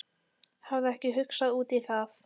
Hafði ekki hugsað út í það.